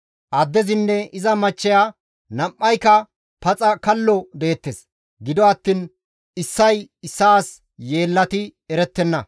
Addezinne iza machcheya nam7ayka paxa kallo deettes; gido attiin issay issaas yeellati erettenna.